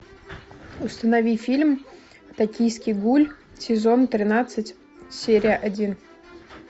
установи фильм токийский гуль сезон тринадцать серия один